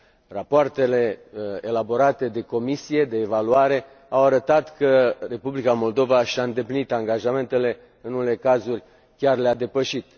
Rapoartele elaborate de comisia de evaluare au arătat că Republica Moldova și a îndeplinit angajamentele, în unele cazuri chiar le a depășit.